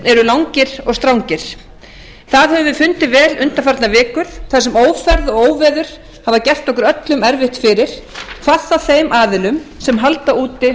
eru langir og strangir það höfum við fundið vel undanfarnar vikur þar sem ófærð og óveður hafa gert okkur öllum erfitt fyrir hvað þá þeim aðilum sem halda úti